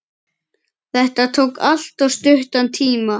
Þetta tók alltof stuttan tíma.